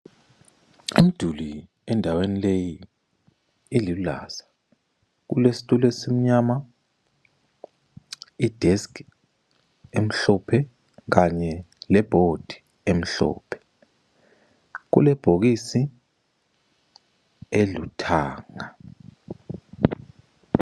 Umduli endaweni leyi elulaza, kulesitulo esimnyama. Ideski emhlophe kanye lebhodi emhlophe. Kulebhokisi eluthanga.